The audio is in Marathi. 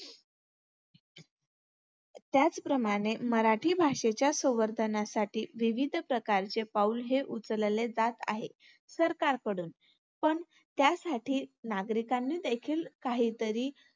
त्याचप्रमाणे मराठी भाषेच्या संवर्धनासाठी विविध प्रकारचे पाऊल हे उचलले जात आहे सरकारकडून. पण त्यासाठी नागरिकांनी देखील काहीतरी